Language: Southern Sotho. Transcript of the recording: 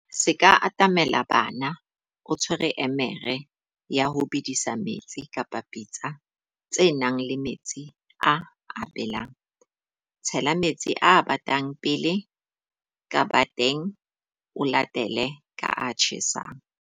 Se ka atamela bana o tshwere emere ya ho bedisa metsi kapa pitsa tse nang le metsi a a belang. Tshela metsi a batang pele ka bateng, o latele ka a tjhesang.